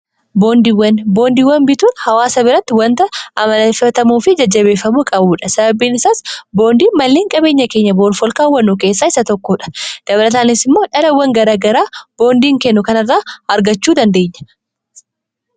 boondiiwan bituun hawaasa biratti wanta amaleffatamuu fi jajjabeeffamuu qabuudha sababbiin isaas boondii malleen qabeenya keenya boruuf olkaawwanuu keessaa isa tokkoodha dabarataanis immoo dhalawwan garagaraa boondiin kennu kana irraa argachuu dandeenya.